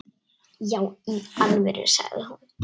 Já í alvöru, sagði hún.